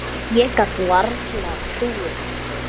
Ég gat varla trúað þessu.